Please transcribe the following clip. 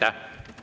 Aitäh!